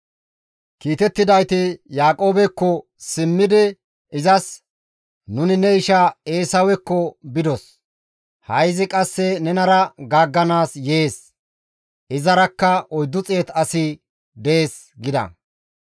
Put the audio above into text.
Kiitettidayti Yaaqoobekko simmidi izas, «Nuni ne isha Eesawekko bidos; ha7i izi qasse nenara gaagganaas yees; izarakka 400 asi dees» gida.